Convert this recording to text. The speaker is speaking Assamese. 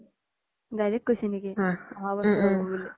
direct কৈছি নেকি অহা ব্ছৰ হ্'ব বুলি